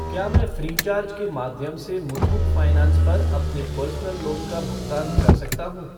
क्या मैं फ़्रीचार्ज के माध्यम से मुथूट फ़ाइनेंस पर अपने पर्सनल लोन का भुगतान कर सकता हूँ?